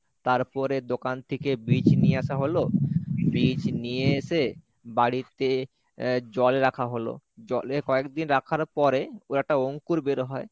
তারপরে দোকান থেকে বীজ নিয়ে আসা হলো বীজ নিয়ে এসে বাড়িতে জলে রাখা হলো, জলে কয়েকদিন রাখার পরে ও একটা অঙ্কুর বের হয়।